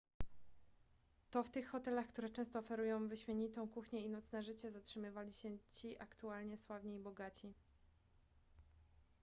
to w tych hotelach które często oferują wyśmienitą kuchnię i nocne życie zatrzymywali się ci aktualnie sławni i bogaci